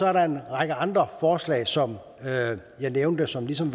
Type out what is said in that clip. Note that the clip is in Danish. er der en række andre forslag som jeg nævnte som ligesom